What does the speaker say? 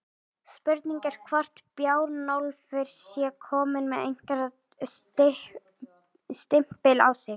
Spurning er hvort Bjarnólfur sé kominn með einhvern stimpil á sig?